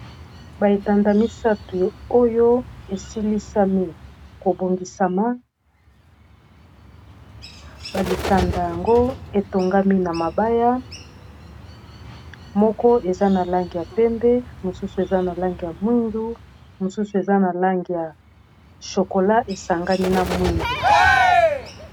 baetanda misato oyo esilisami kobongisama balitanda yango etongami na mabaya moko eza na lange ya pembe mosusu eza na lange ya mwindu mosusu eza na lange ya shokola esangani na mwindu